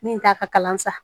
Min t'a ka kalan sa